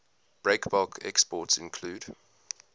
breakbulk exports include